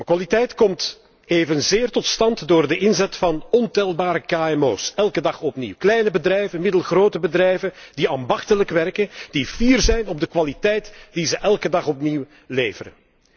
Kwaliteit komt evenzeer tot stand door de inzet van ontelbare kmo's, elke dag opnieuw, kleine bedrijven, middelgrote bedrijven die ambachtelijk werken, die fier zijn op de kwaliteit die ze elke dag opnieuw leveren.